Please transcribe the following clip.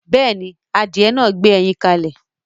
Yes, the chickedn laid eggs